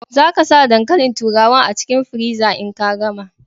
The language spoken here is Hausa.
Za ka sa dankalin turawar a cikin friza in ka gama.